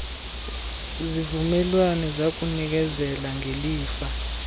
zivumelwano zakunikezela ngelifa